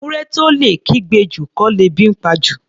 Ewúrẹ́ tó lè kígbe jù, kọ́ lebi ńpa jù.